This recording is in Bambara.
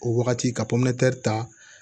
O wagati ka ta